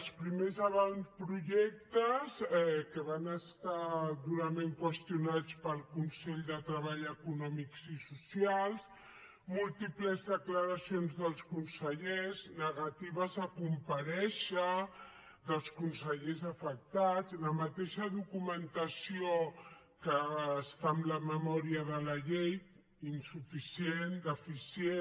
els primers avantprojectes que van estar durament qüestionats pel consell de treball econòmic i social múltiples declaracions dels consellers negatives a comparèixer dels consellers afectats la mateixa documentació que està en la memòria de la llei insuficient deficient